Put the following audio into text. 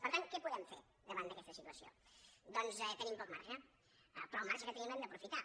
per tant què podem fer davant d’aquesta situació docs tenim poc marge però el marge que tenim l’hem d’aprofitar